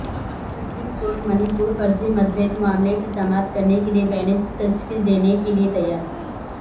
supreme court Manipur فرضی مڈبھیڑ معاملے کی سماعت کےلئےپھرسے بینچ تشکیل دینے کےلئے تیار